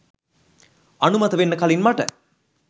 අනුමත වෙන්න කලින් මට